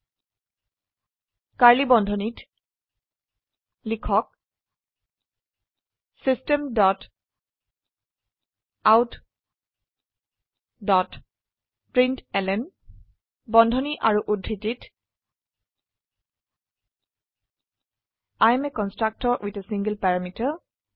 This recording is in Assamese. কাৰ্ড়লী বন্ধনীত লিখক system dot out dot println বন্ধনী আৰু উদ্ধৃতিত I am a constructor with a single parameter